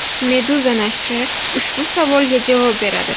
Meduza nashri ushbu savolga javob beradi .